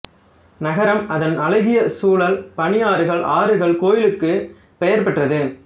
நகரம் அதன் அழகிய சூழல் பனியாறுகள் ஆறுகள் கோயில்களுக்கு பெயர் பெற்றது